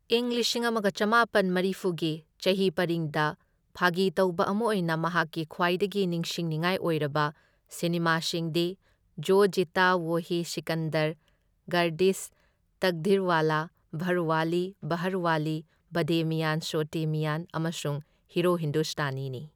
ꯢꯪ ꯂꯤꯁꯤꯡ ꯑꯃꯒ ꯆꯥꯃꯥꯄꯟ ꯃꯔꯤꯐꯨ ꯒꯤ ꯆꯍꯤ ꯄꯔꯤꯡꯗ ꯐꯥꯒꯤ ꯇꯧꯕ ꯑꯃ ꯑꯣꯢꯅ ꯃꯍꯥꯛꯀꯤ ꯈ꯭ꯋꯥꯢꯗꯒꯤ ꯅꯤꯡꯁꯤꯡꯅꯤꯡꯉꯥꯢ ꯑꯣꯢꯔꯕ ꯁꯤꯅꯦꯃꯥꯁꯤꯡꯗꯤ ꯖꯣ ꯖꯤꯇꯥ ꯋꯣꯍꯤ ꯁꯤꯀꯟꯗꯔ ꯒꯥꯔꯗꯤꯁ ꯇꯛꯗꯤꯔꯋꯥꯂꯥ ꯘꯔꯋꯥꯂꯤ ꯕꯍꯥꯔꯋꯥꯂꯤ ꯕꯗꯦ ꯃꯤꯌꯥꯟ ꯆꯣꯇꯦ ꯃꯤꯌꯥꯟ ꯑꯃꯁꯨꯡ ꯍꯤꯔꯣ ꯍꯤꯟꯗꯨꯁꯇꯥꯅꯤꯅꯤ꯫